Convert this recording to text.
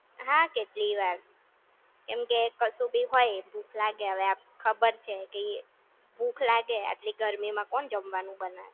હા કેટલીય વાર, કેમકે કશું ભી હોય ભૂખ લાગે હવે ખબર છે કે ભૂખ લાગે આટલી ગરમી માં કોણ જમવાનું બનાવે